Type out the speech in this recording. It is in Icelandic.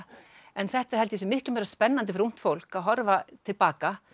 en þetta held ég að sé miklu meira spennandi fyrir ungt fólk að horfa til baka